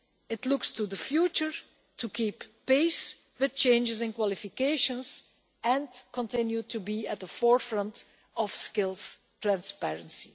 It looks to the future to keep pace with changes in qualifications and continues to be at the forefront of skills transparency.